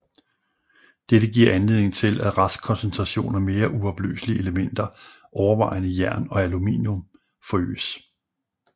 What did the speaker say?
Dette giver anledning til at restkoncentration af mere uopløselige elementer overvejende jern og aluminum forøges